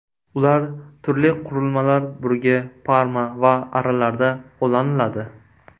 Ular turli qurilmalar burgi, parma va arralarda qo‘llaniladi.